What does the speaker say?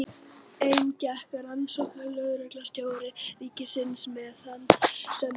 Inn gekk rannsóknarlögreglustjóri ríkisins með þann sem fór.